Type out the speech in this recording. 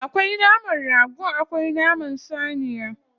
Akwai naman rago akwai naman saniya.